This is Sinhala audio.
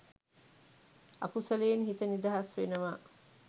අකුසලයෙන් හිත නිදහස් වෙනවා